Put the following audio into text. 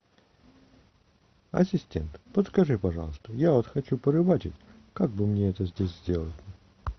ассистент подскажи пожалуйста я вот хочу порыбачить как бы мне это здесь сделать